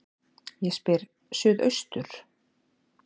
Ég spyr: Suðaustur